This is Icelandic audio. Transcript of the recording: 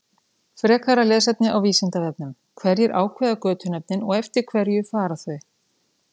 Frekara lesefni á Vísindavefnum: Hverjir ákveða götunöfnin og eftir hverju fara þau?